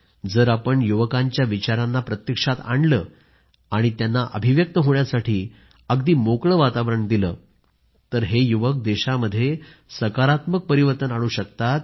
जर आपण युवकांच्या विचारांना प्रत्यक्षात आणलं आणि त्यांना अभिव्यक्त होण्यासाठी अगदी मोकळे वातावरण दिले तर हे युवक देशामध्ये सकारात्मक परिवर्तन आणू शकतात